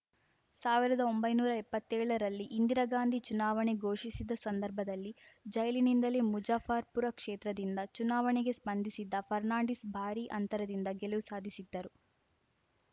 ಸಾವಿರದೊಂಬಯ್ಯನೂರಾ ಎಪ್ಪತ್ತೇಳರಲ್ಲಿ ಇಂದಿರಾ ಗಾಂಧಿ ಚುನಾವಣೆ ಘೊಷಿಸಿದ ಸಂದರ್ಭದಲ್ಲಿ ಜೈಲಿನಿಂದಲೇ ಮುಜಫ್ಫರ್‌ಪುರ ಕ್ಷೇತ್ರದಿಂದ ಚುನಾವಣೆಗೆ ಸ್ಪಂದಿಸಿದ್ದ ಫರ್ನಾಂಡಿಸ್‌ ಭಾರೀ ಅಂತರದಿಂದ ಗೆಲವು ಸಾಧಿಸಿದ್ದರು